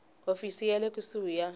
hofisi ya le kusuhi ya